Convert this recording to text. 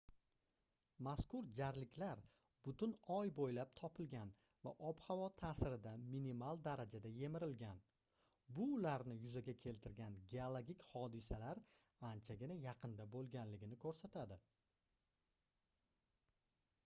mazkur jarliklar butun oy boʻylab topilgan va ob-havo taʼsirida minimal darajada yemirilgan bu ularni yuzaga keltirgan geologik hodisalar anchagina yaqinda boʻlganligini koʻrsatadi